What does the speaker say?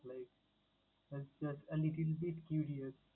like as like a little bit curious ।